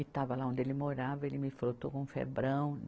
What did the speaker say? E estava lá onde ele morava, ele me falou, estou com febrão.